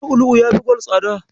Lu'ulu'u yafi gwal tsada.